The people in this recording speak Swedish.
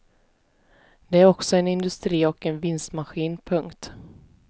Det är också en industri och en vinstmaskin. punkt